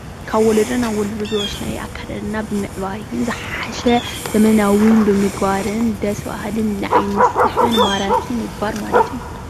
ካብ ወለዶ ናብ ወለዶ ብዝወረስናዎ ኣከዳድና ብምዕባይ ዝሓሽ ዘመናዊ ብምግባርን ደሰ በሃልን ንዓይኒ ዝስሕብን ማራክን ምግባር ማለት እዩ።